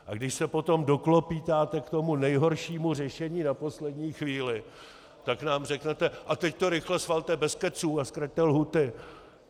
A když se potom doklopýtáte k tomu nejhoršímu řešení na poslední chvíli, tak nám řeknete: A teď to rychle schvalte bez keců a zkraťte lhůty!